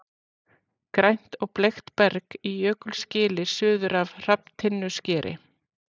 Grænt og bleikt berg í Jökulgili suður af Hrafntinnuskeri.